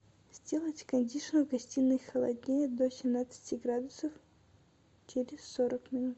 сделать кондишн в гостиной холоднее до семнадцати градусов через сорок минут